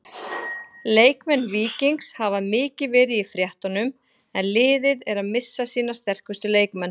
Leikmenn Víkings hafa mikið verið í fréttunum en liðið er að missa sína sterkustu leikmenn.